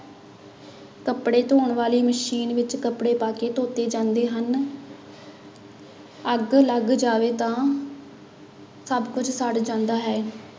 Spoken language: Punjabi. ਕੱਪੜੇ ਧੋਣ ਵਾਲੀ ਮਸ਼ੀਨ ਵਿੱਚ ਕੱਪੜੇ ਪਾ ਕੇ ਧੋਤੇ ਜਾਂਦੇ ਹਨ ਅੱਗ ਲੱਗ ਜਾਵੇ ਤਾਂ ਸਭ ਕੁੱਝ ਸੜ ਜਾਂਦਾ ਹੈ।